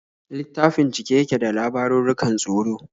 Littafin cike yake da labarurrukan tsoro.